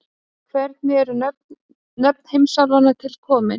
Hvernig eru nöfn heimsálfanna til komin?